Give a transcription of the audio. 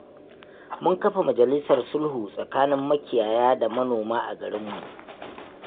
Mun kafa majalisar sulhu tsakanin makiyaya da manoma a garinmu.